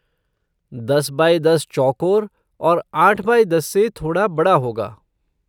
दस बाई दस चौकोर और आठ बाई दस से थोड़ा बड़ा होगा।